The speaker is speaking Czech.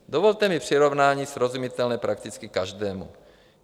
Dovolte mi přirovnání srozumitelné prakticky každému.